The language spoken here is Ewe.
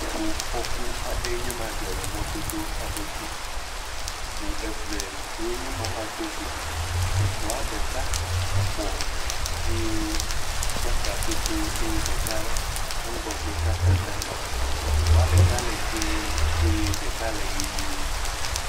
ʋu fɔku aɖeɛ nye ma dzɔ le mɔdodó aɖe dzi, ʋu eve woe nye má va dógo ʋua ɖeka bɔ̀ eye kaka pɛtɛɛ eye ɖeka la wo ŋgɔgbe katã kaka, ʋua ɖeka le dzĩe eye ɖeka le ɣie